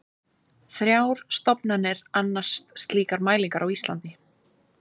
Þrjár stofnanir annast slíkar mælingar á Íslandi.